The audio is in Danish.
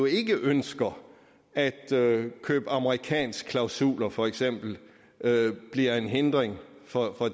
ikke ønsker at køb af amerikanske klausuler for eksempel bliver en hindring for